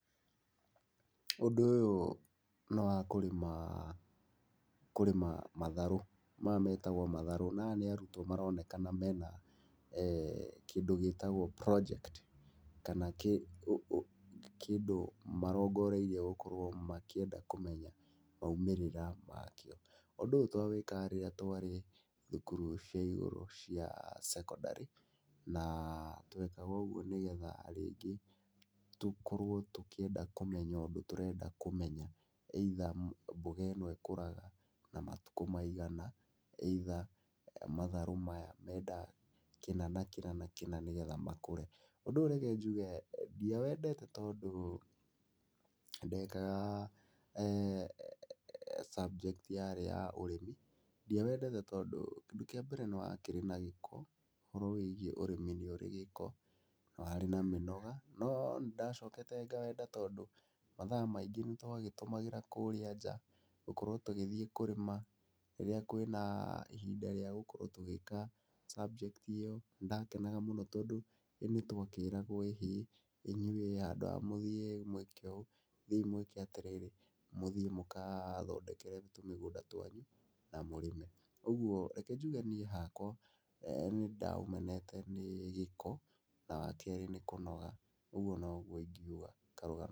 Ũndũ ũyũ nĩ wa kũrĩma matharũ, maya metagwo matharũ. Na anya nĩ arutwo maronekana mena kĩndũ gĩtagwo project kana kĩndũ marongoreirie gũkorwo makĩenda kũmenya maumĩrĩra makĩo. Ũndũ ũyũ twawĩkaga rĩrĩa twarĩ thukuru cia igũrũ cia sekondarĩ na twekaga ũguo nĩgetha rĩngĩ tũkorwo tũkĩenda kũmenya ũndũ tũrenda kũmenya. Either mboga ĩno ĩkũraga na matukũ maigana, either matharũ maya mendaga kĩna na kĩna na kĩna nĩgetha makũre. Ũndũ ũyũ reke njuge ndiawendete tondũ ndekaga subject yarĩ ya ũrĩmi. Ndiawendete tondũ kĩndũ kĩa mbere nĩ wakĩrĩ na gĩko, ũhoro wĩgiĩ ũrĩmi nĩ ũrĩ gĩko, nĩ warĩ na mĩnoga, no nĩ ndacokete ngawenda tondũ mathaa maingĩ nĩ twagĩtũmagĩra kũrĩa nja, gũkorwo tũgĩthiĩ kũrĩma rĩrĩa kwĩna ihinda rĩa gũkorwo tũgĩka subject ĩyo. Nĩ ndakenaga mũno tondũ nĩ twakĩragwo ĩhĩ inyuĩ handũ ha mũthiĩ mwĩke ũũ, mũthiĩ mũgathondeke tũmĩgũnda twanyu na mũrĩme. Ũguo reke njuge niĩ hakwa nĩ ndaũmenete nĩ gĩko na wa kerĩ ni kũnoga. Ũguo noguo ingiuga karuga...